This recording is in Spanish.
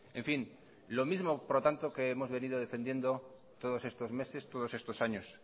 en fin lo mismo por lo tanto que hemos venido defendiendo todos estos meses todos estos años